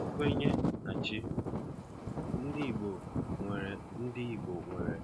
Nkwenye na chi: Ndị Igbo nwere Ndị Igbo nwere